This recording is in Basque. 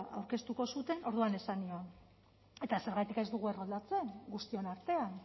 aurkeztuko zuten orduan esan nion eta zergatik ez dugu erroldatzen guztion artean